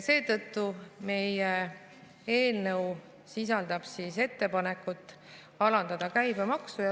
Seetõttu sisaldab meie eelnõu ettepanekut alandada käibemaksu.